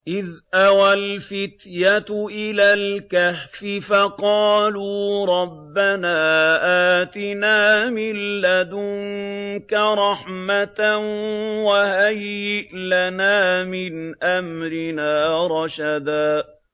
إِذْ أَوَى الْفِتْيَةُ إِلَى الْكَهْفِ فَقَالُوا رَبَّنَا آتِنَا مِن لَّدُنكَ رَحْمَةً وَهَيِّئْ لَنَا مِنْ أَمْرِنَا رَشَدًا